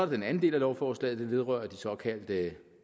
den anden del af lovforslaget den vedrører de såkaldte